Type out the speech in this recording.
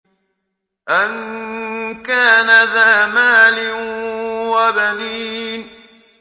أَن كَانَ ذَا مَالٍ وَبَنِينَ